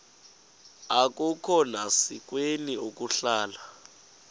akukhona sikweni ukuhlala